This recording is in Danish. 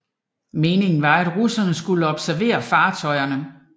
Meningen var at russerne skulle observere fartøjerne